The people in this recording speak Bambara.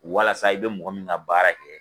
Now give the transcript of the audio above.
Walasa i bɛ mɔgɔ min ka baara kɛ